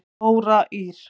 Þóra Ýr.